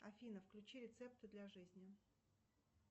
афина включи рецепты для жизни